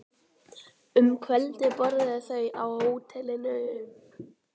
Um kvöldið borðuðu þau á hótelinu.